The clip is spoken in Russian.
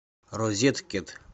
розеткет